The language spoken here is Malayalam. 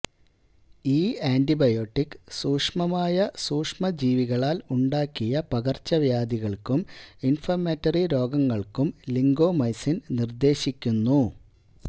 ഈ ആൻറിബയോട്ടിക്ക് സൂക്ഷ്മമായ സൂക്ഷ്മജീവികളാൽ ഉണ്ടാക്കിയ പകർച്ചവ്യാധികൾക്കും ഇൻഫഌമിറ്ററി രോഗങ്ങൾക്കും ലിങ്കോമൈസിൻ നിർദ്ദേശിക്കുന്നു